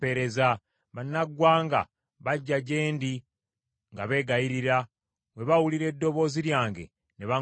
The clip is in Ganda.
Bannaggwanga bajja gye ndi nga beegayirira, bwe bawulira eddoboozi lyange ne baŋŋondera.